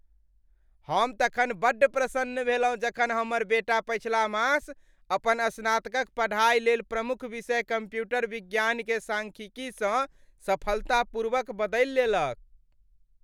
हम तखन बड्ड प्रसन्न भेलहुँ जखन हमर बेटा पछिला मास अपन स्नातकक पढ़ाइ लेल प्रमुख विषय कम्प्यूटर विज्ञानकेँ सांख्यिकीसँ सफलतापूर्वक बदलि लेलक।